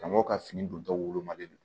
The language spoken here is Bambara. Ka mɔgɔw ka fini don tɔw wolomalen don